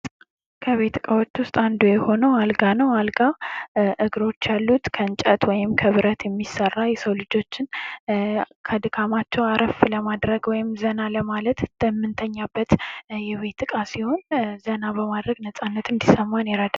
ክእቤት እቃዎች ዉስጥ አንዱ የሆነው አልጋ ነው። አልጋ እግሮች ያሉት ከእንጨት ወይም ከብረት የሚሰራ የሰው ልጆችን ከድካማቸው አረፍ ለማድረግ ወይም ዘና ለማድረግ በምንተኛበት የቤት እቃ ሲሆን፤ ዘና በማድረግ ነጻነት እንዲሰማን ያደርጋል።